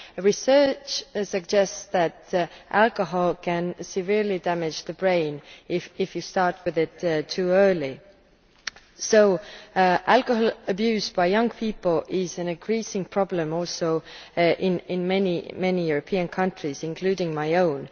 Research suggests that alcohol can severely damage the brain if you start with it too early, and alcohol abuse by young people is an increasing problem in many European countries, including my own.